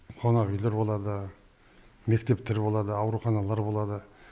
қонақ үйлер болады мектептер болады ауруханалар болады